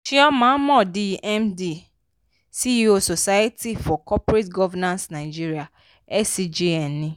chioma mordi md ceo society for corporate governance nigeria scgn ni.